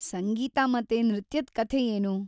ಸಂಗೀತ ಮತ್ತೆ ನೃತ್ಯದ್ ಕಥೆ ಏನು?